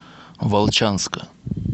волчанска